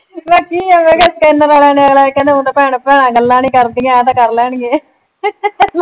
ਮੈਂ ਕਿਹਾ ਕੀ ਐ ਮੈਂ ਕਿਹਾ ਚੈਨਲ ਆਲਿਆਂ ਨੇ ਕਹਿਣਾ ਊਂ ਤਾਂ ਭੈਣਾਂ ਭੈਣਾਂ ਗੱਲਾਂ ਨਈਂ ਕਰਦੀਆਂ ਐਂ ਤਾਂ ਕਰ ਲੈਣਗੇ